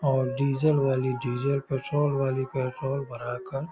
और डीजल वाली diesel petrol वाली पेट्रोल भरा कर --